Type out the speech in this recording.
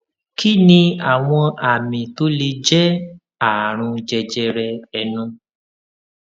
kí ni àwọn àmì tó lè jé àrùn jẹjẹrẹ ẹnu